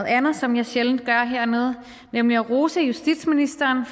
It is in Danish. andet som jeg sjældent gør hernede nemlig at rose justitsministeren